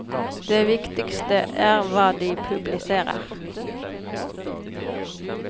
Det viktigste er hva de publiserer.